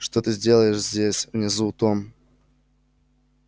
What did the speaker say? что ты сделаешь здесь внизу том